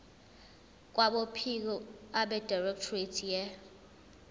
kwabophiko abedirectorate ye